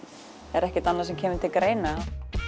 er ekkert annað sem kemur til greina